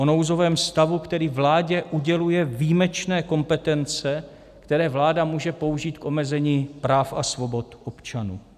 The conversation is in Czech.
O nouzovém stavu, který vládě uděluje výjimečné kompetence, které vláda může použít k omezení práv a svobod občanů.